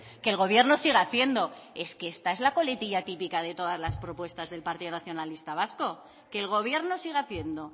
que el gobierno siga haciendo es que esta es la coletilla típica de todas las propuestas del partido nacionalista vasco que el gobierno siga haciendo